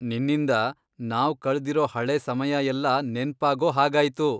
ನಿನ್ನಿಂದ ನಾವ್ ಕಳ್ದಿರೋ ಹಳೇ ಸಮಯ ಎಲ್ಲ ನೆನ್ಪಾಗೋ ಹಾಗಾಯ್ತು.